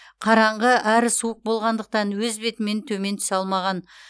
қараңғы әрі суық болғандықтан өз бетімен төмен түсе алмаған